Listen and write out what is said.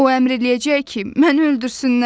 O əmr eləyəcək ki, məni öldürsünlər.